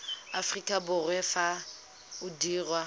aforika borwa fa o dirwa